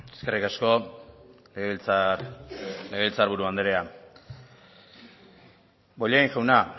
eskerrik asko legebiltzar buru andrea bollain jauna